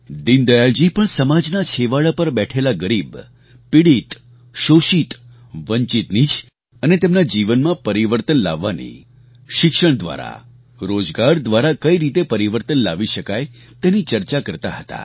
દીનદયાળજી પણ સમાજના છેવાડા પર બેઠેલા ગરીબ પીડિત શોષિત વંચિતની જ અને તેમના જીવનમાં પરિવર્તન લાવવાની શિક્ષણ દ્વારા રોજગાર દ્વારા કઈ રીતે પરિવર્તન લાવી શકાય તેની ચર્ચા કરતા હતા